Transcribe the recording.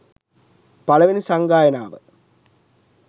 පලවෙනි සංගායනාව